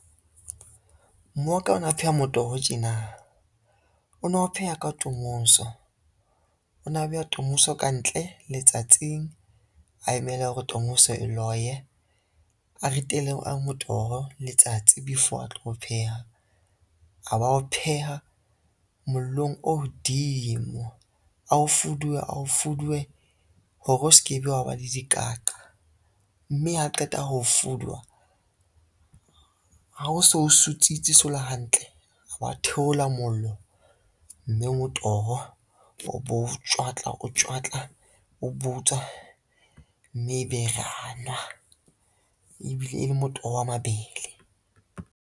Mmoa ka ona o pheha motoho tjena, o na o pheha ka tomoso, ona beha tomoso kantle letsatsing a emele hore tomoso e loye. A ritele motoho letsatsi before a tlo o pheha, a ba o pheha mollong o hodimo a o fuduwe, a o fuduwe hore o se ke be wa ba le dikaqa, mme ha qeta ho fuduwa, ha o so sutsitse o so le hantle, a ba theola mollo, mme motoho wa o bo o tjwatla, o tjwatla o butswa, mme ebe ra nwa ebile e le motoho wa mabele.